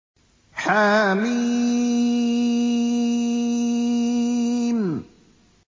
حم